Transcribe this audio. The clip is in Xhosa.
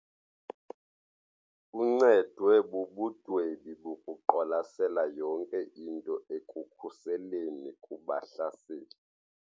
Uncedwe bubundwebi bokuqwalasela yonke into ekukhuseleni kubahlaseli.